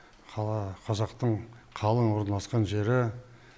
қала қазақтың қалың орналасқан жері